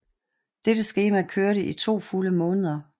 Dette skema kørte i to fulde måneder